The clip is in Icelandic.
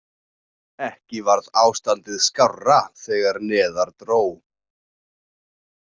Ekki varð ástandið skárra þegar neðar dró.